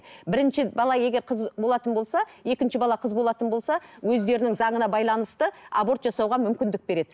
бірінші бала егер қыз болатын болса екінші бала қыз болатын болса өздерінің заңына байланысты аборт жасауға мүмкіндік береді